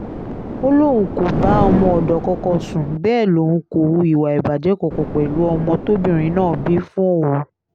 ó lóun kò bá ọmọọ̀dọ́ kankan sùn bẹ́ẹ̀ lòun kò hu ìwà ìbàjẹ́ kankan pẹ̀lú ọmọ tóbìnrin náà bí fóun